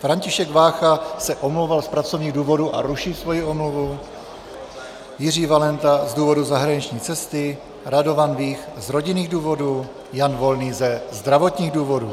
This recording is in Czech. František Vácha se omlouval z pracovních důvodů a ruší svoji omluvu, Jiří Valenta z důvodu zahraniční cesty, Radovan Vích z rodinných důvodů, Jan Volný ze zdravotních důvodů.